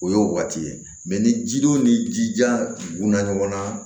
O y'o waati ye ni ji don ni jija ɲɔgɔnna